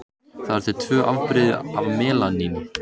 Það eru til tvö afbrigði af melaníni.